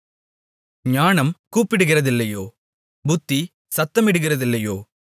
ஞானம் கூப்பிடுகிறதில்லையோ புத்தி சத்தமிடுகிறதில்லையோ